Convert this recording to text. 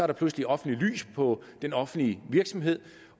der pludselig offentligt lys på den offentlige virksomhed